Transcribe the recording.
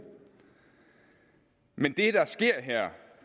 men